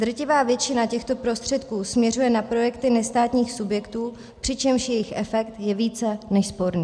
Drtivá většina těchto prostředků směřuje na projekty nestátních subjektů, přičemž jejich efekt je více než sporný.